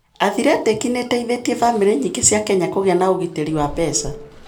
Athletic nĩ ĩteithĩtie bamĩrĩ nyingĩ cia Kenya kũgĩa na ũgitĩri wa mbeca.